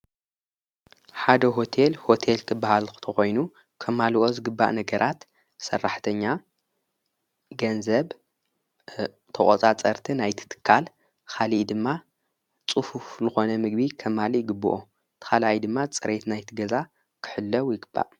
ሓደ ሁተል ሆቴል ክበሃል ተኾይኑ ከማልኦ ዝግባእ ነገራት ሠራሕተኛ ገንዘብ ተቖፃ ጸርቲ ናይትትካል ኻሊኢ ድማ ጽፉፍ ልኾነ ምግቢ ከማል ይግብኦ ተኻልኢ ድማ ጸሬየት ናይትገዛ ክሕለው ይግባእ።